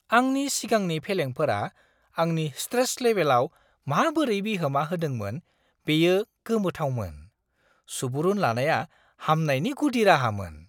आंनि सिगांनि फेलेंफोरा आंनि स्ट्रेस लेबेलआव माबोरै बिहोमा होदोंमोन बेयो गोमोथावमोन! सुबुरुन लानाया हामनायनि गुदि राहामोन!